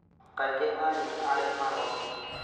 Kaingĩ anyina arĩa marongithia